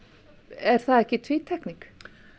er það ekki tvítekning